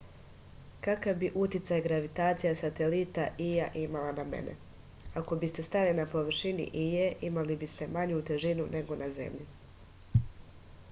kakav bi uticaj gravitacija satelita ija imala na mene ako biste stajali na površini ije imali biste manju težinu nego na zemlji